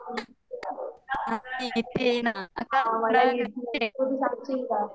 आणि इथ आहे न